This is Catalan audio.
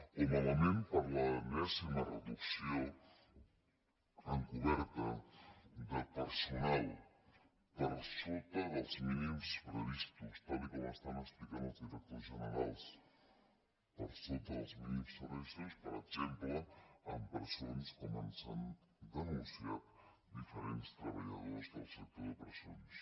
o malament per l’enèsima reducció encoberta de personal per sota dels mínims previstos tal com estan explicant els directors generals per sota dels mínims previstos per exemple en presons com ens han denunciat diferents treballadors del sector de presons